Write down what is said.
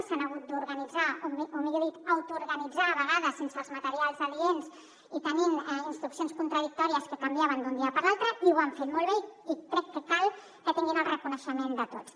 s’han hagut d’organitzar o millor dit autoorganitzar a vegades sense els materials adients i tenint instruccions contradictòries que canviaven d’un dia per l’altre i ho han fet molt bé i crec que cal que tinguin el reconeixement de tots